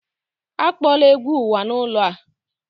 Akpọla egwu uwa n'ụlọ a!